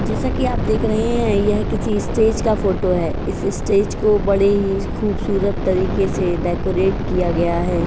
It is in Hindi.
जैसे कि आप यहां पर देख सकते हैं यह किस स्टेट का फोटो है। इस स्टेट का बड़े ही खूबसूरत तरीके से डेकोरेट किया गया है।